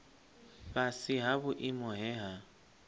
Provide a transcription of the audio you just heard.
fhasi ha vhuimo he ha